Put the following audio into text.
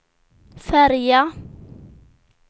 färja